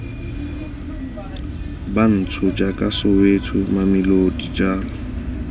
bantsho jaaka soweto mamelodi jalo